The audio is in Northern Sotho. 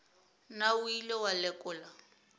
na o ile wa lekola